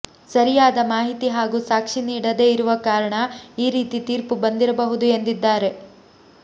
ಸರಿಯಾದ ಮಾಹಿತಿ ಹಾಗೂ ಸಾಕ್ಷಿ ನೀಡದೆ ಇರುವ ಕಾರಣ ಈ ರೀತಿ ತೀರ್ಪು ಬಂದಿರಬಹುದು ಎಂದಿದ್ದಾರೆ